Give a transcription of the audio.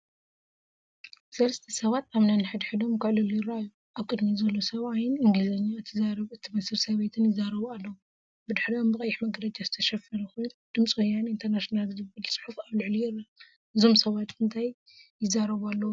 ሰለስተ ሰባት ኣብ ነንሕድሕዶም ክዕልሉ ይረኣዩ። ኣብ ቅድሚት ዘሎ ሰብኣይን እንግሊዝኛ እትዛረብ እትመስል ሰበይትን ይዛረቡ ኣለዉ። ብድሕሪኦም ብቐይሕ መጋረጃ ዝተሸፈነ ኮይኑ፡ “ድምፂ ወያነ ኢንተርናሽናል” ዝብል ጽሑፍ ኣብ ልዕሊኡ ይርአ። እዞም ሰባት እንታይ ይዛረቡ ኣለዉ ትብሉ?